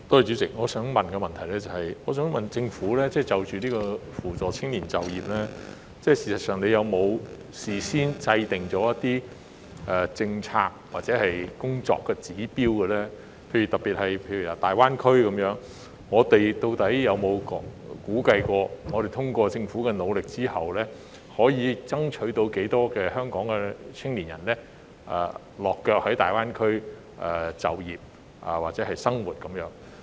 主席，我的補充質詢是，政府就扶助青年就業方面，有否事先制訂一些政策或工作指標，以大灣區為例，當局究竟有否估計經政府努力後，可以爭取多少香港青年在大灣區落腳、就業或生活？